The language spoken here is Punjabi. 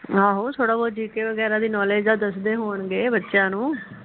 ਆਹੋ ਥੋੜ੍ਹਾ ਬਹੁਤ gk ਵਗੈਰਾ ਦੀ ਨੌਲਿਜ ਤਾ ਦਸਦੇ ਹੋਣਗੇ ਬੱਚਿਆਂ ਨੂੰ